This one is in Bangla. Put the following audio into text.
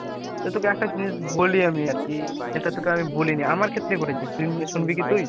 তো তোকে একটা জিনিস বলি আমি আরকি যেটা তোকে আমি বলিনি। আমার ক্ষেত্রেই ঘটেছে শুনবি শুনবি কি তুই ?